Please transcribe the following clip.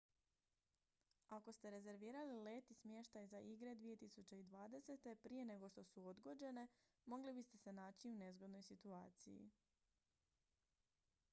ako ste rezervirali let i smještaj za igre 2020. prije nego su odgođene mogli biste se naći u nezgodnoj situaciji